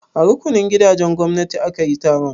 A rukunin gidajen gwamnati aka yi taron?